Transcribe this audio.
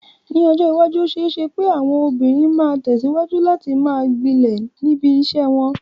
Ní ọjọ́ iwájú, ó ṣeé ṣe pé àwọn obìnrin máa tẹ̀síwájú láti máa gbilẹ̀ níbi iṣẹ́ wọn.